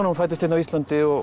fæddist hérna á Íslandi og